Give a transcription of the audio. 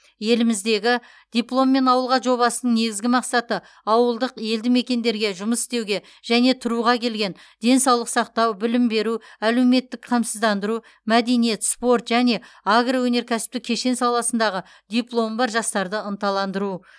еліміздегі дипломмен ауылға жобасының негізгі мақсаты ауылдық елді мекендерге жұмыс істеуге және тұруға келген денсаулық сақтау білім беру әлеуметтік қамсыздандыру мәдениет спорт және агроөнеркәсіптік кешен саласындағы дипломы бар жастарды ынталандыру